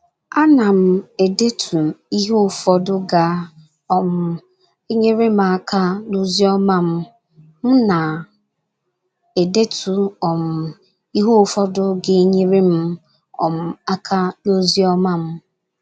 A nam- edetu ihe ụfọdụ ga - um enyere m aka n’ozi ọma m. ”M na - edetu um ihe ụfọdụ ga - enyere m um aka n’ozi ọma m. ”